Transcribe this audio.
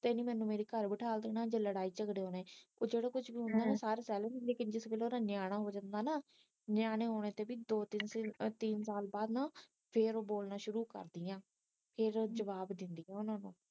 ਤੇ ਇਹਨਾਂ ਮੈਨੂੰ ਮੇਰੇ ਘਰ ਬਿਠਾਲ ਦੇਣਾ ਜੇ ਲੜਾਈ ਜਗੜਾ ਹੋਈ ਜਿਹੜਾ ਕੁਛ ਹੁੰਦਾ ਨਾ ਸਾਰਾ ਕੁਝ ਸਹਿ ਲੈਂਦੀ ਲੇਕਿਨ ਜਦੋ ਓਦਾਂ ਨਿਆਣਾ ਹੋ ਜਾਂਦਾ ਨਾ ਨਿਆਣੇ ਹੋਣੇ ਤੇ ਵੀ ਦੋ ਤਿੰਨ ਸਾਲ ਬਾਅਦ ਨਾ ਫਿਰ ਉਹ ਬੋਲਣਾ ਸ਼ੁਰੂ ਕਰਦੀਆਂ ਫਿਰ ਉਹ ਜਵਾਬ ਦਿੰਦੀਆ ਓਹਨਾ ਨੂੰਨਾ